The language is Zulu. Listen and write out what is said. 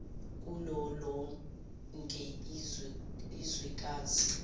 kulo lonke izwekazi